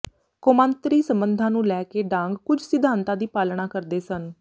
ਕੌਮਾਂਤਰੀ ਸੰਬੰਧਾਂ ਨੂੰ ਲੈ ਕੇ ਡਾਂਗ ਕੁਝ ਸਿਧਾਂਤਾਂ ਦੀ ਪਾਲਣਾ ਕਰਦੇ ਸਨ